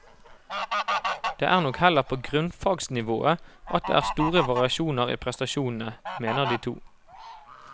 Det er nok heller på grunnfagsnivået at det er store variasjoner i prestasjonene, mener de to.